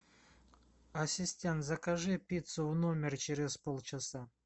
ассистент закажи пиццу в номер через полчаса